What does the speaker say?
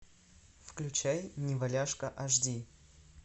включай неваляшка аш ди